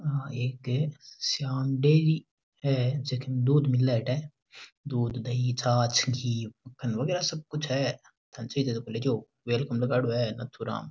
या एक श्याम डेरी है जेके दूध मिल्या अठे दूध दही छाछ घी फल वगेरा सब कुछ है नाथूराम।